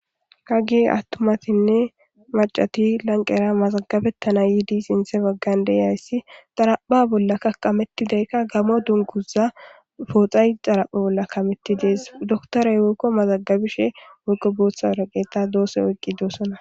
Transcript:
Hage attumatinne macati lanqera mazagabettana yiidi sinthe baggan deyayssi xarapha bolla ka qamettidaykka gamo dunguza pooxay xarapha bolla kametti dees doktoray yoykko mazagabishe woyqo booththa araqeeta doose oyqqi doosona.